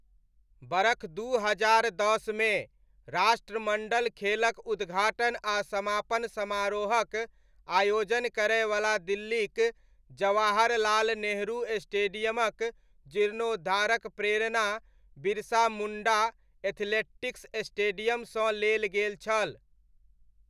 बरख दू हजार दसमे राष्ट्रमण्डल खेलक उद्घाटन आ समापन समारोहक आयोजन करयवला दिल्लीक जवाहर लाल नेहरू स्टेडियमक जीर्णोद्धारक प्रेरणा बिरसा मुण्डा एथलेटिक्स स्टेडियमसँ लेल गेल छल।